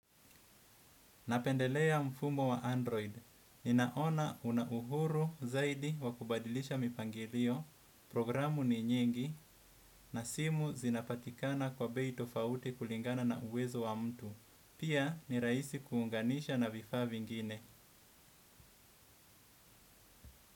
Napendelea mfumo wa Android. Ninaona una uhuru zaidi wa kubadilisha mipangilio, programu ni nyingi, na simu zinapatikana kwa bei tofauti kulingana na uwezo wa mtu. Pia ni rahisi kuunganisha na vifaa vingine.